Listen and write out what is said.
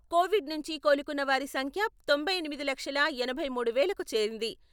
Covid నుంచి కోలుకున్న వారి సంఖ్య తొంభై ఎనిమిది లక్షల ఎనభై మూడు వేలకు చేరింది.